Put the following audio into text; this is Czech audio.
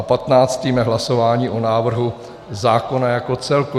A patnáctým je hlasování o návrhu zákona jako celku.